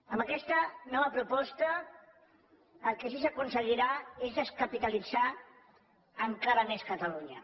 amb aquesta nova proposta el que sí que s’aconseguirà és descapitalitzar encara més catalunya